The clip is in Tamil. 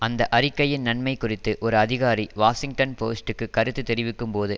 அந்த அறிக்கையின் நன்மை குறித்து ஒரு அதிகாரி வாஷிங்டன் போஸ்டுக்கு கருத்து தெரிவிக்கும் போது